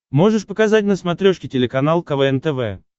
можешь показать на смотрешке телеканал квн тв